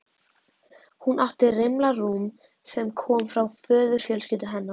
Hún átti rimla rúm sem kom frá föðurfjölskyldu hennar.